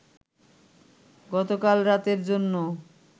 গতকাল রাতের জন্য